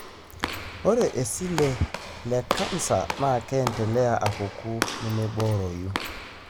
ore iseli le canser na keendelea apuku nemeboroyu.